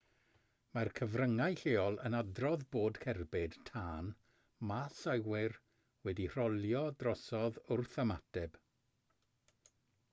mae'r cyfryngau lleol yn adrodd bod cerbyd tân maes awyr wedi rholio drosodd wrth ymateb